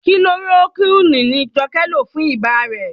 Kilorokúínì ni Jọkẹ́ lò fún ibà rẹ̀.